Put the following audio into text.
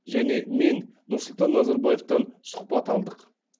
және мен нұрсұлтан назарбаевтан сұқбат алдық